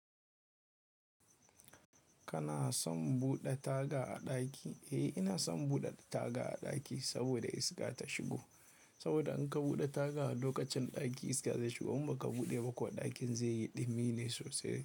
Kana son buɗe taga a ɗaki? Eh, ina son buɗe taga a ɗaki saboda iska ta shigo. Saboda in ka buɗe taga a lokacin ɗaki iska zai shigo in ba ka buɗe ba kuwa ɗakin zai yi ɗumi ne sosai.